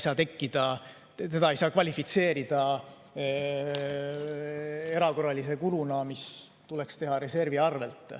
Seda ei saa kvalifitseerida erakorralise kuluna, mis tuleks teha reservi arvelt.